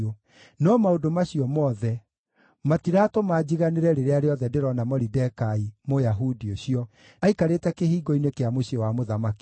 No maũndũ macio mothe, matiratũma njiganĩre rĩrĩa rĩothe ndĩrona Moridekai, Mũyahudi ũcio, aikarĩte kĩhingo-inĩ kĩa mũciĩ wa mũthamaki.”